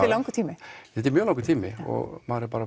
langur tími þetta er mjög langur tími og maður er bara